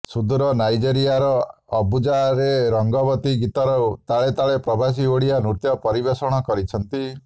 ସୁଦୂର ନାଇଜେରିଆର ଆବୁଜାରେ ରଙ୍ଗବତୀ ଗୀତର ତାଳେ ତାଳେ ପ୍ରବାସୀ ଓଡ଼ିଆ ନୃତ୍ୟ ପରିବେଷଣ କରିଛନ୍ତି